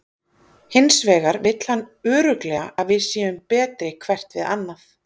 Hins vegar vill hann örugglega að við séum betri hvert við annað.